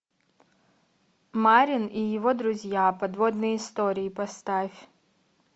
марин и его друзья подводные истории поставь